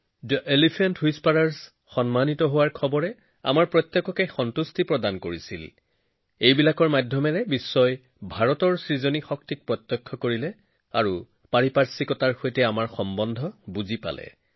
elephant হুইস্পাৰছৰ সফলতাৰ কথা শুনি কোন আনন্দিত হোৱা নাছিল ইয়াৰ জৰিয়তে সমগ্ৰ বিশ্বই ভাৰতৰ সৃষ্টিশীলতাৰ সাক্ষী হৈছিল আৰু প্ৰকৃতিৰ সৈতে আমাৰ গভীৰ সম্পৰ্ক বুজি পাইছিল